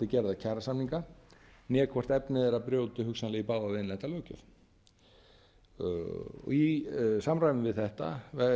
gerða kjarasamninga né hvort efni þeirra brjóti hugsanlega í bága við innlenda löggjöf í samræmi við þetta